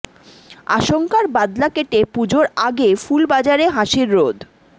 আশঙ্কার বাদলা কেটে পুজোর আগে ফুল বাজারে হাসির রোদ